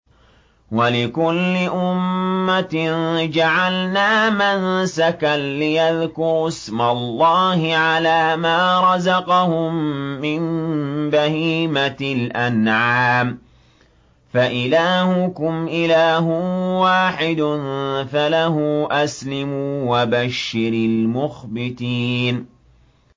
وَلِكُلِّ أُمَّةٍ جَعَلْنَا مَنسَكًا لِّيَذْكُرُوا اسْمَ اللَّهِ عَلَىٰ مَا رَزَقَهُم مِّن بَهِيمَةِ الْأَنْعَامِ ۗ فَإِلَٰهُكُمْ إِلَٰهٌ وَاحِدٌ فَلَهُ أَسْلِمُوا ۗ وَبَشِّرِ الْمُخْبِتِينَ